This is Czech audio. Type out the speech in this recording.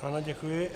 Ano, děkuji.